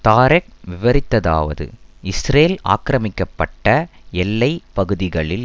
Tarek விவரித்ததாவது Israel ஆக்கிரமிக்கப்பட்ட எல்லை பகுதிகளில்